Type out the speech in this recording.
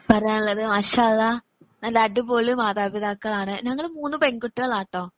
പറയാനുള്ളത് മാഷാ അള്ളാ നല്ല അടിപൊളി മാതാപിതാക്കളാണ്. ഞങ്ങള് മൂന്ന് പെൺകുട്ടികളാട്ടോ